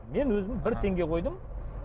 мен өзім бір теңге қойдым